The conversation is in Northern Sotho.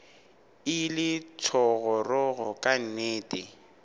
e le thogorogo ka nnete